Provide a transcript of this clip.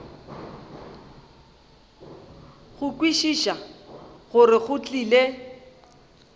go kwešiša gore go tlile